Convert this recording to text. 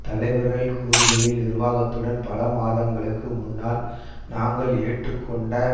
தலைவர்கள் கூறுகையில் நிர்வாகத்துடன் பல மாதங்களுக்கு முன்னால் நாங்கள் ஏற்று கொண்ட